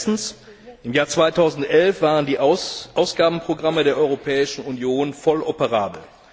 Erstens Im Jahr 2011 waren die Ausgabenprogramme der Europäischen Union voll operabel.